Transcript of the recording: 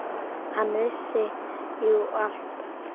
Hann vissi jú allt.